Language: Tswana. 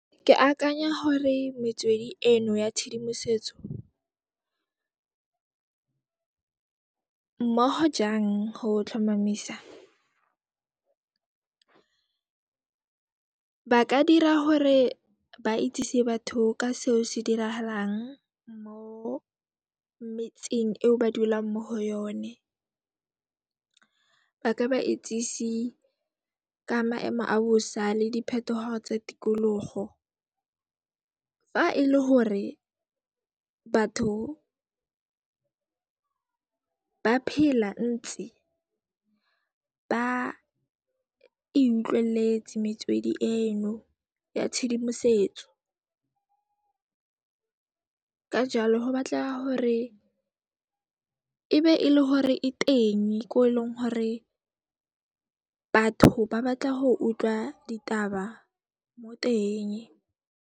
Ke akanya hore metswedi eno ya tshedimosetso, mmoho jang ho tlhomamisa, ba ka dira hore ba itsise batho ka seo se dirahalang mo metseng eo ba dulang mo ho yone. Ba ka ba itsise ka maemo a bosa le diphetoho tsa tikologo. Fa ele hore batho ba phela ntse ba e utlwelletse metswedi eno ya tshedimosetso. Ka jaalo ho batleha hore e be ele hore e tenge ko eleng hore batho ba batla ho utlwa ditaba mo teng.